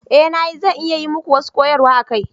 Eh na yi, zan iya yi muku wasu koyarwa a kai.